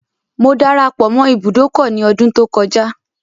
Mo darapọ̀ mọ́ ibùdókọ̀ ní ọdún tó kọjá.